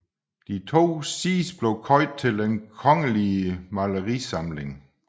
De 2 sidstnævnte blev købt til Den Kongelige Malerisamling